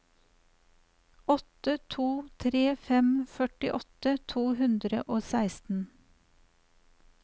åtte to tre fem førtiåtte to hundre og seksten